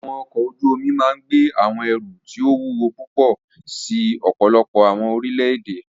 Awọn ọkọ oju omi máa gbe awọn ẹru ti o wuwo pupọ si ọpọlọpọ awọn orilẹ-ede.